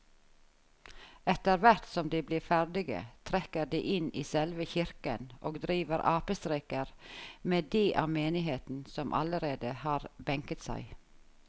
Etterthvert som de blir ferdige trekker de inn i selve kirken og driver apestreker med de av menigheten som allerede har benket seg.